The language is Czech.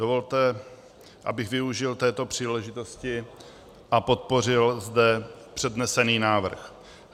Dovolte, abych využil této příležitosti a podpořil zde přednesený návrh.